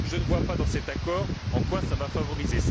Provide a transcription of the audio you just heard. Je ne vois pas, dans cet accord, en quoi cela sera favorisé.